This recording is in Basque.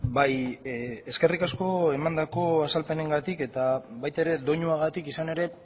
bai eskerrik asko emandako azalpenengatik eta baita ere doinuagatik izan ere